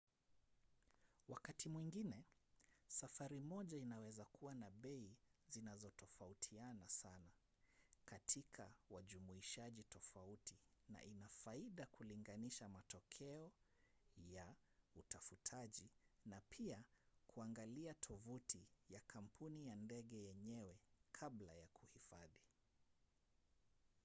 wakati mwingine safari moja inaweza kuwa na bei zinazotofautiana sana katika wajumuishaji tofauti na ina faida kulinganisha matokeo ya utafutaji na pia kuangalia tovuti ya kampuni ya ndege yenyewe kabla ya kuhifadhi